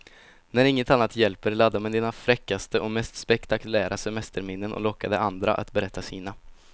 När inget annat hjälper, ladda med dina fräckaste och mest spektakulära semesterminnen och locka de andra att berätta sina.